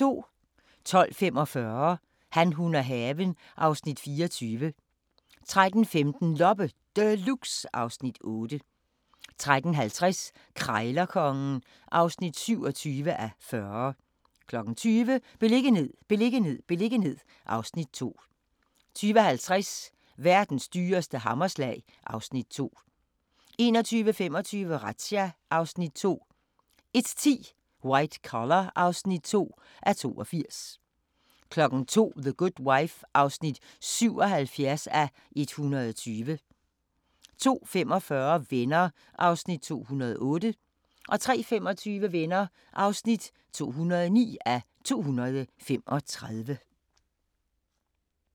12:45: Han, hun og haven (Afs. 24) 13:15: Loppe Deluxe (Afs. 8) 13:50: Krejlerkongen (27:40) 20:00: Beliggenhed, beliggenhed, beliggenhed (Afs. 2) 20:50: Verdens dyreste hammerslag (Afs. 2) 21:25: Razzia (Afs. 2) 01:10: White Collar (2:82) 02:00: The Good Wife (77:120) 02:45: Venner (208:235) 03:25: Venner (209:235)